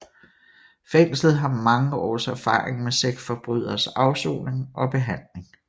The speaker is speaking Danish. Fængslet har mange års erfaring med sexforbryderes afsoning og behandling